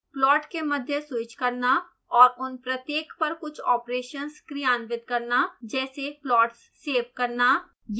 plots के मध्य switch करना और उन प्रत्येक पर कुछ ऑपरेशन्स क्रियान्वित करना जैसे प्लॉट्स सेव करना